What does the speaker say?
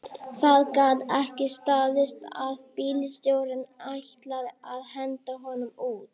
Það gat ekki staðist að bílstjórinn ætlaði að henda honum út